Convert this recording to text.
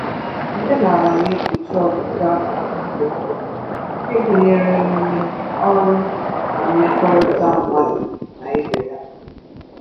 Omenala na-ekpuchi ọtụtụ akụkụ nke ndu, nke gụnyere emume, ọrụ, na mmekọrịta mmadụ na ibe ya.